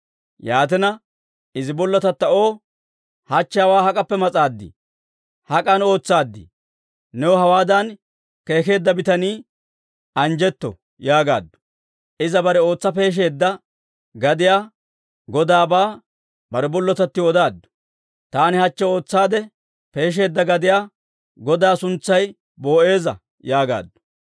Yaatina, izi bollotatta O, «Hachche hawaa hak'appe mas'aadii? Hak'an ootsaaddii? New hawaadan keekeedda bitanii anjjetto» yaagaaddu. Iza bare ootsa peesheedda gadiyaa godaabaa bare bollotattiw odaaddu. «Taani hachche ootsaadde peesheedda gadiyaa godaa suntsay Boo'eeza» yaagaaddu.